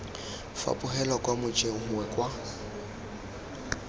fapogelwa kwa mojeng gongwe kwa